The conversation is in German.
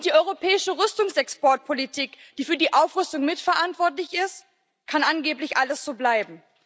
Und bei der europäischen Rüstungsexportpolitik, die für die Aufrüstung mitverantwortlich ist, kann angeblich alles so bleiben.